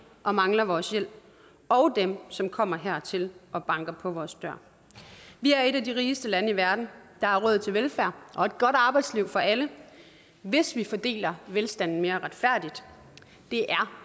og mangler vores hjælp og dem som kommer hertil og banker på vores dør vi er et af de rigeste lande i verden der er råd til velfærd og et godt arbejdsliv for alle hvis vi fordeler velstanden mere retfærdigt det er